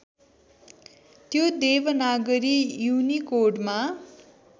त्यो देवनागरी युनिकोडमा